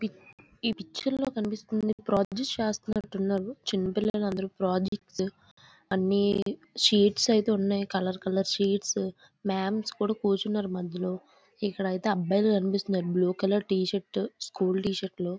Pick ఈ picture లో కనిపిస్తుంది ప్రాజెక్ట్ చేస్తున్నట్టున్నారు. చిన్నపిల్లల అందరూ ప్రాజెక్ట్స్ . అన్ని షీట్స్ అయితే ఉన్నాయి..కలర్ కలర్ షీట్స్ . మ్యామ్స్ కూడా కూర్చున్నారు మధ్యలో. ఇక్కడైతే అబ్బాయిలు కనిపిస్తున్నారు. Blue colour T shirt school T shirts.